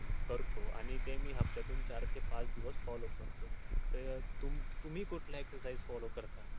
करतो आणि मी ते हपत्यातून चार ते पाच दिवस follow करतो तर तुम्ही कुठल्या exercise follow करता.